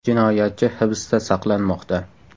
Jinoyatchi hibsda saqlanmoqda.